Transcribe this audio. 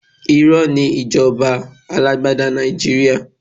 Irọ́ ni ìjọba alágbádá Nàìjíríà.